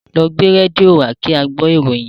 Lọ gbé rédíò wá kí á gbọ́ ìròyìn!